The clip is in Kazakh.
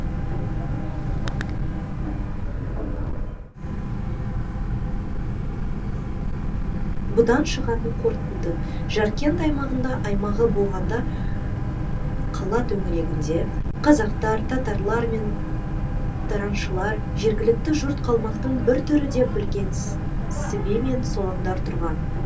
бұдан шығатын қорытынды жаркент аймағында аймағы болғанда қала төңірегінде қазақтар татарлар мен тараншылар жергілікті жұрт қалмақтың бір түрі деп білген сібе мен солаңдар тұрған